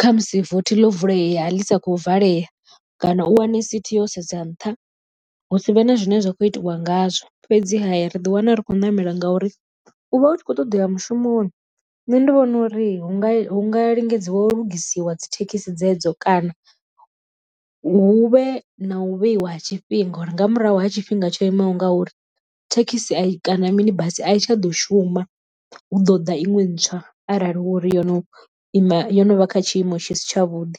khamusi vothi ḽo vulea ḽi sa khou valea. Kana u wane sithi yo sedza nṱha hu si vhe na zwine zwa kho itiwa ngazwo fhedziha ri ḓi wana ri khou ṋamela ngauri u vha u tshi khou ṱoḓea mushumoni nṋe ndi vhona uri hu nga hu nga lingedzwa u lugisiwa dzi thekhisi dzedzo, kana hu vhe na u vheiwa ha tshifhinga uri nga murahu ha tshifhinga tsho imaho nga uri thekhisi a i kana mini basi a i tsha ḓo shuma hu ḓo ḓa iṅwe ntswa arali hu uri yo no ima yo no vha kha tshiimo tshi si tshavhuḓi.